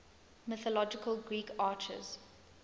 mythological greek archers